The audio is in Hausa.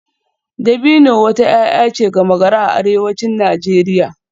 Dabino wata 'ya'ya ce gama-gari a arewacin Najeriya